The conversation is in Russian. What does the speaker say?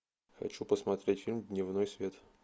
хочу посмотреть фильм дневной свет